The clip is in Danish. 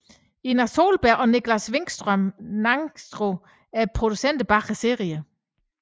Ina Sohlberg og Nicklas Wikström Nicastro er producenterne bag serien